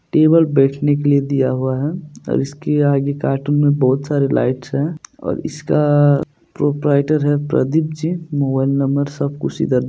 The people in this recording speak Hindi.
टेबल बैठने के लिए दिया हुआ है और इसके आगे कार्टून में बहुत सारी लाइट्स है और इसका प्रोपराइटर है प्रदीपजी मोबाइल नंबर सब कुछ इधर--